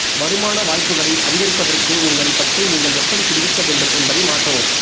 வருமான வாய்ப்புகளை அதிகரிப்பதற்கு உங்களை பற்றி நீங்கள் எப்படி சிந்திக்க வேண்டும் என்பதை மாற்றவும்